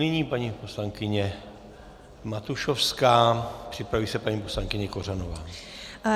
Nyní paní poslankyně Matušovská, připraví se paní poslankyně Kořanová.